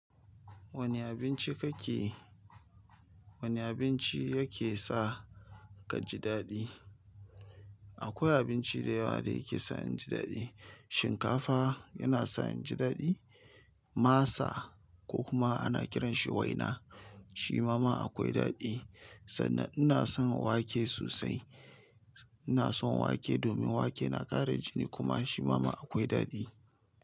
Wane abinci kake wane abinci yake sa ka ji daɗi? Akwai abinci da yawa da yake sa in ji daɗi. Shinkafa yana sa in ji daɗi, masa ko kuma ana kiranshi waina. Shi ma ma akwai daɗi. Sannan ina son wake sosai. Ina son wake domin wake na ƙara jini kuma shi ma ma akwai daɗi.